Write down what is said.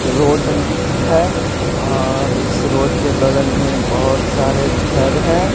Road है और इस रोड के बगल में बहुत सारे घर हैं।